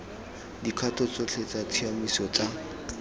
dikgato tsotlhe tsa tshiamiso tsa